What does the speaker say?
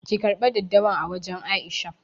ki karbe daddawan a wajan Aisha.